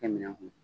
Kɛ minɛn kun